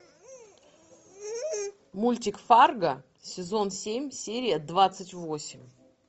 мультик фарго сезон семь серия двадцать восемь